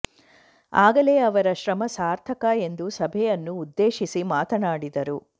ಆಗಲೇ ಅವರ ಶ್ರಮ ಸಾರ್ಥಕ ಎಂದು ಸಭೆಯನ್ನು ಉದ್ದೇಶಿಸಿ ಮಾತನಾಡಿದರು